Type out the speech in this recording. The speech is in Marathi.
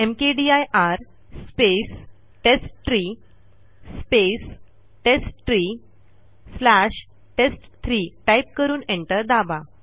mkdir space test three space test three slash टेस्ट3 टाईप करून एंटर दाबा